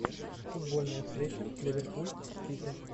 футбольная встреча ливерпуль с сити